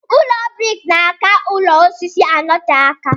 Ụlọ briks na aka ụlọ osisi notee aka.